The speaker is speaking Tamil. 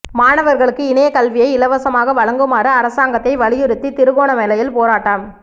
மாணவர்களுக்கு இணைய கல்வியை இலவசமாக வழங்குமாறு அரசாங்கத்தை வலியுத்தி திருகோணமலையில் போராட்டம்